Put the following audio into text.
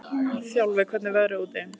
Þjálfi, hvernig er veðrið úti?